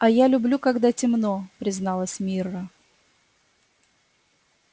а я люблю когда темно призналась мирра